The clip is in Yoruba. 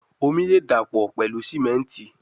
Omi le dapọ pẹlu simenti